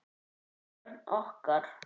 Vörn okkar